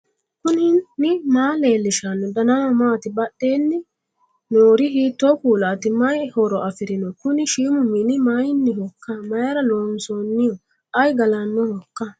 knuni maa leellishanno ? danano maati ? badheenni noori hiitto kuulaati ? mayi horo afirino ? kuni shiimu mini mayinnihoikka mayra looonsoonniho ayi galannohoikka